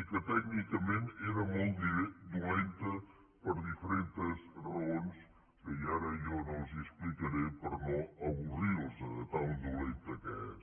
i que tècnicament era molt dolenta per diferents raons que ara jo no els explicaré per no avorrir los de tan dolenta que és